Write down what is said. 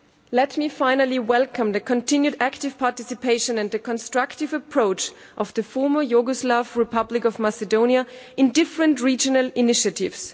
Let me finally welcome the continued active participation and the constructive approach of the Former Yugoslav Republic of Macedonia in different regional initiatives.